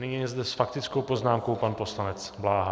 Nyní je zde s faktickou poznámkou pan poslanec Bláha.